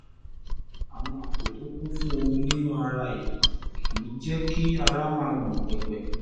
àwọn àpò tó kún fún omi nínú ara yìí kìí jẹ́ kí ara máa gbọ̀n pẹ̀pẹ̀